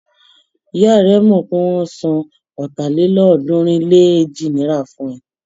Ìyá rẹ mọ̀ pé wọ́n ń san ọ̀tàlélọ́ọ̀ọ́dúnrún-lé-èjì náírà fún ẹ.